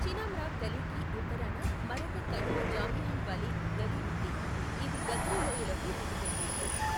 చినామ్రాగ్ గలీకి ఉత్తరాన మరొక కనుమ జామియాన్ వాలీ గలీ ఉంది, ఇది గగ్రి లోయలోకి దిగుతుంది.